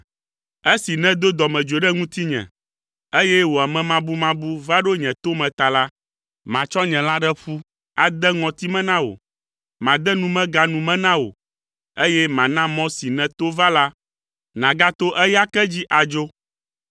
Esi nèdo dɔmedzoe ɖe ŋutinye, eye wò amemabumabu va ɖo nye to me ta la, matsɔ nye lãɖeƒu ade ŋɔti me na wò, made numega nu me na wò, eye mana mɔ si nèto va la nàgato eya ke dzi adzo.